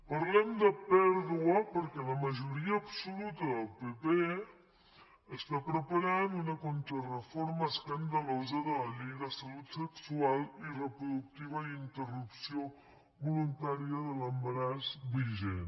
parlem de pèrdua perquè la majoria absoluta del pp està preparant una contrareforma escandalosa de la llei de salut sexual i reproductiva i interrupció voluntària de l’embaràs vigent